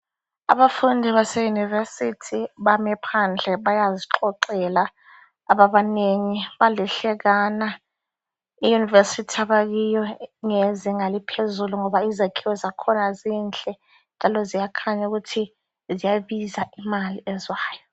Abafundi baseyunivesithi bame phandle bayazixoxela. Ababanengi balihlekana. Iyunivesithi abakuyo ngeyezinga eliphezulu ngoba izakhiwo zakhona zinhle njalo ziyakhanya ukuthi ziyabiza imali ezwayo.